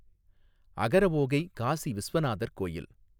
அகரஓகை காசி விஸ்வநாதர் கோயில்